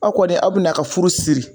Aw kɔni a bina ka furu siri